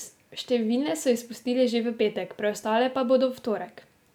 Številne so izpustili že v petek, preostale pa bodo v torek.